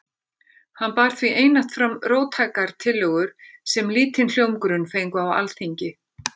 Hann bar því einatt fram róttækar tillögur sem lítinn hljómgrunn fengu á Alþingi.